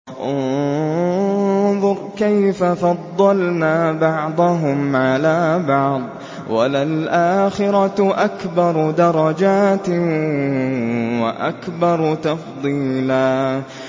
انظُرْ كَيْفَ فَضَّلْنَا بَعْضَهُمْ عَلَىٰ بَعْضٍ ۚ وَلَلْآخِرَةُ أَكْبَرُ دَرَجَاتٍ وَأَكْبَرُ تَفْضِيلًا